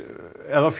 ef